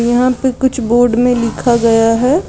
यहां पर कुछ बोर्ड में लिखा गया है।